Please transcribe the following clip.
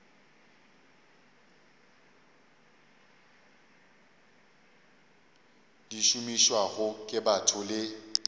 di šomišwago ke batho le